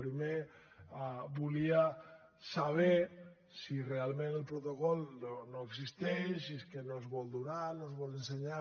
primer volia saber si realment el protocol no existeix si és que no es vol donar no es vol ensenyar